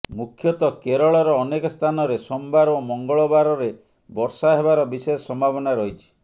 ମୁଖ୍ୟତଃ କେରଳର ଅନେକ ସ୍ଥାନରେ ସୋମବାର ଓ ମଙ୍ଗଳବାରରେ ବର୍ଷା ହେବାର ବିଶେଷ ସମ୍ଭାବନା ରହିଛି